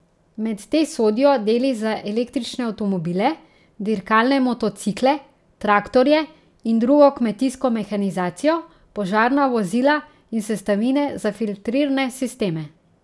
Med te sodijo deli za električne avtomobile, dirkalne motocikle, traktorje in drugo kmetijsko mehanizacijo, požarna vozila in sestavine za filtrirne sisteme.